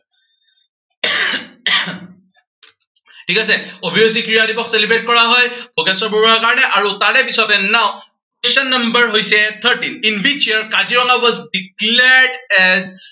ঠিক আছে অভিৰুচি ক্ৰীড়া দিৱস celebrate কৰা হয় ভোগেশ্বৰ বৰুৱাৰ কাৰনে। আৰু তাৰপিছতে now question number হৈছে thirteen, in which year Kaziranga was declared as